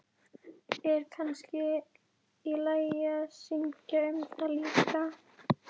Er kannski í lagi að syngja um það líka?